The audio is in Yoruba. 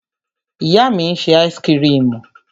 Ìyá mi ń ṣe áísíkrimù.